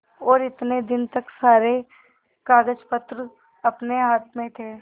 और इतने दिन तक सारे कागजपत्र अपने हाथ में थे